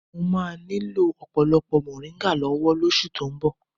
Mo máa nílò ọ̀pọ̀lọpọ̀ moringa lọ́wọ́ oṣù tó ń bọ̀